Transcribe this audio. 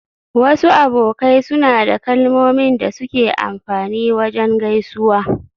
Wasu abokai suna da kalmomin da suke amfani wajen gaisuwa.